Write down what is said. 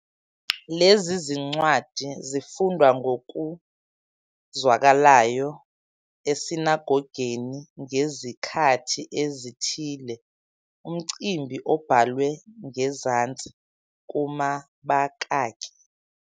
Lezi zincwadi zifundwa ngokuzwakalayo esinagogeni ngezikhathi ezithile, umcimbi obhalwe ngezansi kumabakaki.